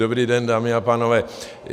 Dobrý den, dámy a pánové.